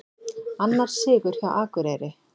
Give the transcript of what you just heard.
Annar sigur hjá Akureyri